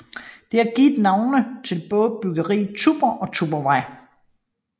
Det har givet navn til både bryggeriet Tuborg og Tuborgvej